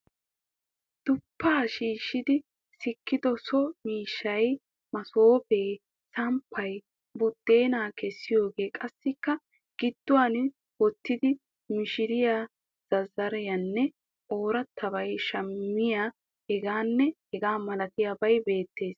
Duppaa shiishshidi sikkido so miishshay masoofee, samppay, buddeenaa kessiyoge qassikka gidduwan uttida mishiriya zazzareenne oroottoy samaayee hegaanne hegaa malatiyabay beettes.